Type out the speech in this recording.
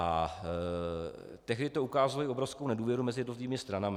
A tehdy to ukázalo i obrovskou nedůvěru mezi různými stranami.